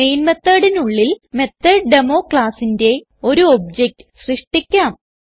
main methodനുള്ളിൽ മെത്തോട്ടേമോ ക്ലാസ്സിന്റെ ഒരു ഒബ്ജക്ട് സൃഷ്ടിക്കാം